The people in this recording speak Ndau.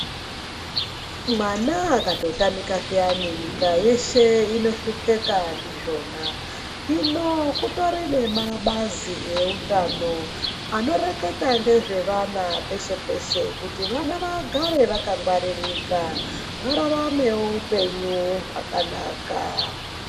Mwana akatotamika zviyani, nyika yeshe inohlupeka ndizvona. Hino kutori nemabazi eutano anoreketa ngezvevana peshe peshe, kuti vana vagare vakangwaririka vararamewo upenyu hwakanaka.